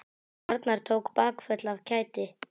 Arnar tók bakföll af kæti.